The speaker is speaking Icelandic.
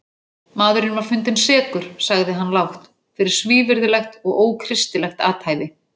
Maðurinn var fundinn sekur, sagði hann lágt,-fyrir svívirðilegt og ókristilegt athæfi.